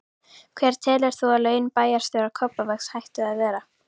Hver telur þú að laun bæjarstjóra Kópavogs ættu að vera?